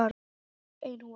Ein húfa.